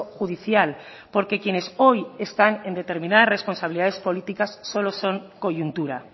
judicial porque quienes hoy están en determinadas responsabilidades políticas solo son coyuntura